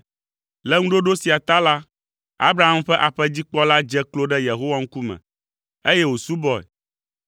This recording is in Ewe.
Le ŋuɖoɖo sia ta la, Abraham ƒe aƒedzikpɔla dze klo ɖe Yehowa ŋkume, eye wòsubɔe.